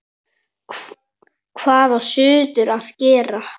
Hvað á suður að gera?